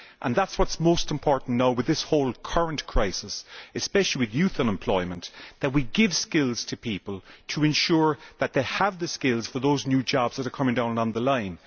That is what is most important now with this whole current crisis, especially with youth unemployment that we give skills to people to ensure that they have the skills for those new jobs that are coming down along the line.